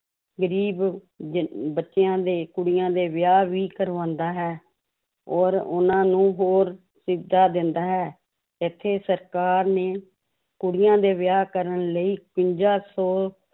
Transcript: ਗ਼ਰੀਬ ਜ~ ਬੱਚਿਆਂ ਦੇ ਕੁੜੀਆਂ ਦੇ ਵਿਆਹ ਵੀ ਕਰਵਾਉਂਦਾ ਹੈ ਔਰ ਉਹਨਾਂ ਨੂੰ ਹੋਰ ਸੁਵਿਧਾ ਦਿੰਦਾ ਹੈ, ਇੱਥੇ ਸਰਕਾਰ ਨੇ ਕੁੜੀਆਂ ਦੇ ਵਿਆਹ ਕਰਨ ਲਈ ਇਕਵੰਜਾ ਸੌ